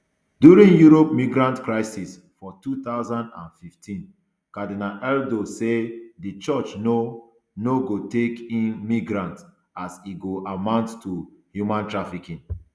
during europe migrant crisis for two thousand and fifteen cardinal erdo say di church no no go take in migrants as e go amount to human trafficking